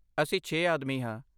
ਅਸੀਂ ਛੇ ਆਦਮੀ ਹਾਂ।